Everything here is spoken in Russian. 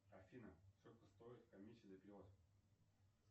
афина сколько стоит комиссия за перевод